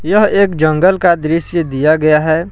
यह एक जंगल का दृश्य दिया गया है।